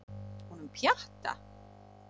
Honum Pjatta?